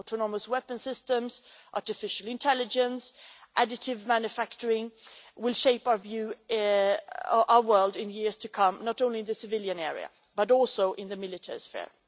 Autonomous weapon systems, artificial intelligence and additive manufacturing will shape our world in years to come not only in the civilian area, but also in the military sphere.